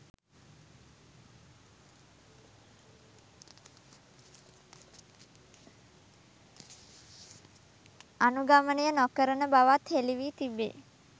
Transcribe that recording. අනුගමනය නොකරන බවත් හෙළිවී තිබේ